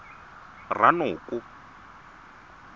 ranoko